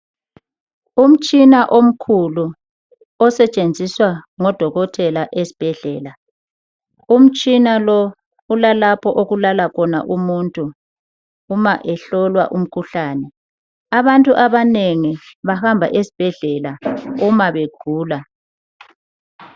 Umtshina omkhulu osetshenziswa ngodokotela ezibhedlela umtshina lo ulalapho okulala khona umuntu uma ehlolwa umkhuhlane, abantu abanengi bayahamba esibhedlela uma begula.